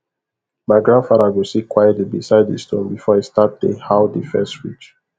my grandfather go sit quietly beside the stone before he start dey how the first ridge